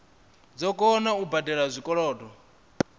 dzo kona u badela zwikolodo